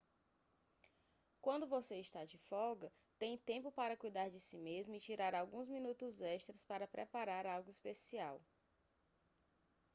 quando você está de folga tem tempo para cuidar de si mesmo e tirar alguns minutos extras para preparar algo especial